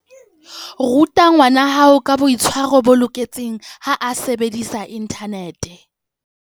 Ruta ngwanahao ka boitshwaro bo loketseng ha a sebedisa inthanete.